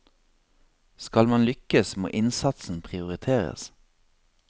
Skal man lykkes, må innsatsen prioriteres.